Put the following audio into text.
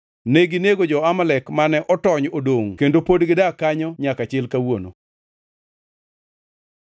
Neginego jo-Amalek mane otony odongʼ kendo pod gidak kanyo nyaka chil kawuono.